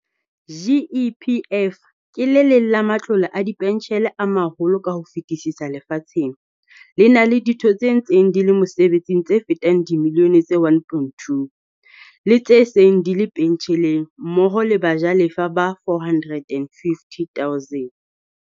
GEPF ke le leng la ma tlole a dipentjhele a maholo ka ho fetisisa lefatsheng, le na le ditho tse ntseng di le mosebetsing tse fetang dimi lione tse 1.2, le tse seng di le pentjheleng mmoho le bajalefa ba 450 000.